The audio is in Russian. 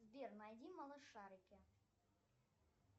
сбер найди малышарики